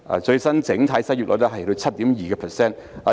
最新整體失業率達到 7.2%。